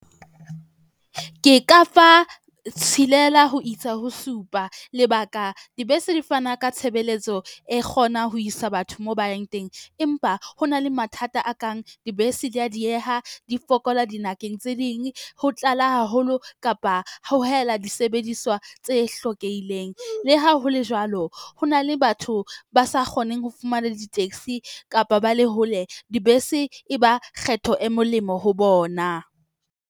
Ke ka fa tshelela ho isa ho supa lebaka, dibese di fana ka tshebeletso e kgona ho isa batho moo ba yang teng, empa ho na le mathata a kang dibese di ya dieha. Di fokola dibakeng tse ding, ho tlala haholo kapa ho hela disebediswa tse hlokehileng. Le ha hole jwalo, ho na le batho ba sa kgoneng ho fumana le di-taxi kapa ba le hole. Dibese e ba kgetho e molemo ho bona.